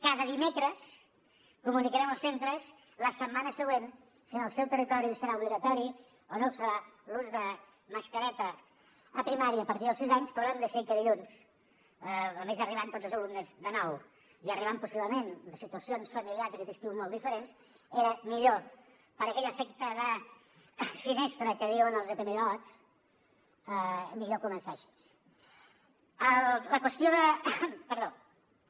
cada dimecres comunicarem als centres la setmana següent si en el seu territori serà obligatori o no ho serà l’ús de mascareta a primària a partir dels sis anys però hem decidit que dilluns a més arribant tots els alumnes de nou i arribant possiblement de situacions familiars aquest estiu molt diferents era millor per aquell efecte de finestra que diuen els epidemiòlegs començar així